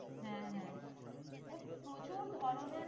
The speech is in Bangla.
হ্যাঁ হ্যাঁ প্রচুর ধরণের